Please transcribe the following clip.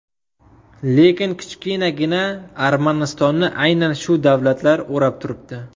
Lekin kichkinagina Armanistonni aynan shu davlatlar o‘rab turibdi.